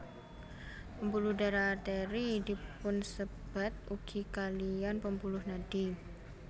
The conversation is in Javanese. Pembuluh darah Arteri dipunsebat ugi kaliyan pembuluh nadi